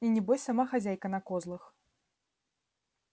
и небось сама хозяйка на козлах